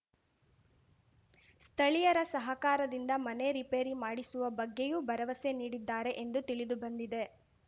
ಸ್ಥಳೀಯರ ಸಹಕಾರಿಂದ ಮನೆ ರಿಪೇರಿ ಮಾಡಿಸುವ ಬಗ್ಗೆಯೂ ಭರವಸೆ ನೀಡಿದ್ದಾರೆ ಎಂದು ತಿಳಿದು ಬಂದಿದೆ